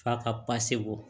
F'a ka pase bɔ